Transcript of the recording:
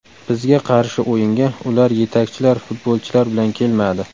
Bizga qarshi o‘yinga ular yetakchilar futbolchilar bilan kelmadi.